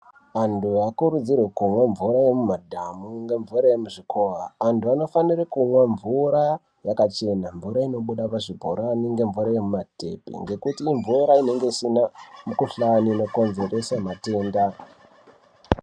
Antu haakurudzirwe kumwa mvura yemumadhamu ngemvura yemuzvikova. Antu anofanira kumwa mvura yakachena mvura inobuda pazvibhorani. Ngemvura yemumatepi ngekuti imvura inenge isina mikuhlani inokonzeresa matenda.